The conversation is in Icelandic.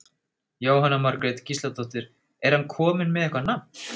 Jóhanna Margrét Gísladóttir: Er hann kominn með eitthvað nafn?